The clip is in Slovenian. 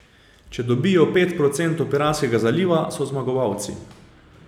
Če dobijo pet procentov piranskega zaliva, so zmagovalci.